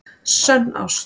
Sönn ást